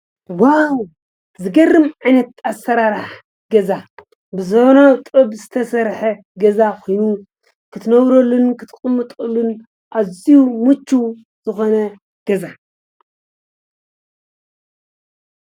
ዋው ዝገርም ዓይነት ኣሰራርሓ ገዛ ብዘበናዊ ጥበብ ዝተሰርሐ ገዛ ኮይኑ ክትነብረሉ ክትቕመጠሉን ኣዝዩ ምችው ዝኾነ ገዛ።